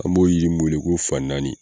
An b'o jiri min wele ko fan naani